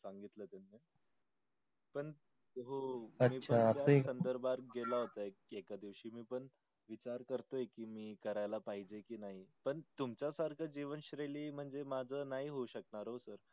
पण हो संधर्भात गेला होता एके दिवसी मी पण विचार करतोय कि मी कर्याला पाहिजे कि नाही पण तुमच्या सारखी जीवन श्रेली म्हणजे माझ नाही होऊ साकणार ओ sir.